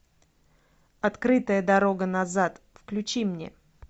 открытая дорога назад включи мне